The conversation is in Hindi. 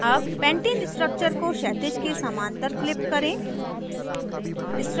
अब पैंटेन structure को क्षैतिज के समान्तर flip करें